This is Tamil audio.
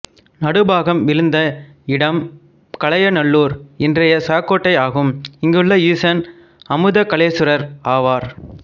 நடுபாகம் விழுந்த இடம் கலயநல்லூர் இன்றைய சாக்கோட்டை ஆகும் இங்குள்ள ஈசன் அமுதகலசேஸ்வரர் ஆவார்